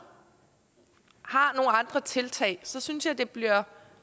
har andre tiltag synes jeg det bliver